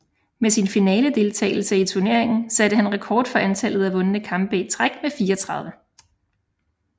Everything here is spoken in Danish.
Med sin finaledeltagelse i turneringen satte han rekord for antallet af vundne kampe i træk med 34